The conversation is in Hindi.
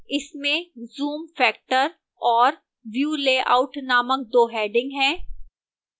इसमें zoom factor और view layout नामक 2 headings हैं